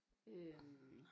Øh